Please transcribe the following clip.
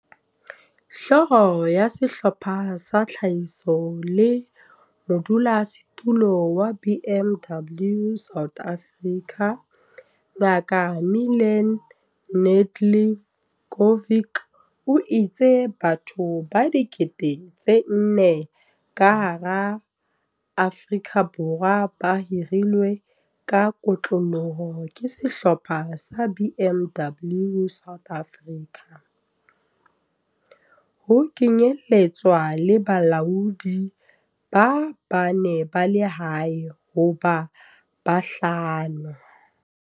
Hlooho ya Sehlopha sa Tlhahiso le modulasetulo wa BMW South Africa, Ngaka Milan Nedeljkovic, o itse batho ba 4 000 ka hara Afrika Borwa ba hirilwe ka kotloloho ke Sehlopha sa BMW South Africa, ho kenyeletswa le balaodi ba bane ba lehae ho ba bahlano.